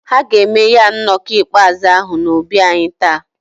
Ha ga-eme ya nnọkọ mkpezi ahụ n'obi anyị taa.